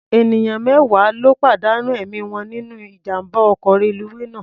Ènìyàn mẹ́wàá ló pàdánù ẹ̀mí wọn nínú ijàm̀bá ọkọ̀ reluwé náà.